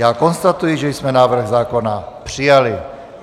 Já konstatuji, že jsme návrh zákona přijali.